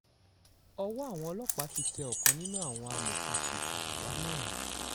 ọwọ́ àwọn ọlọ́pàá ti tẹ ọ̀kan nínú àwọn amọ̀òkùnsíkà ẹ̀dá náà